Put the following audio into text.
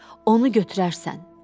Onu götürərsən.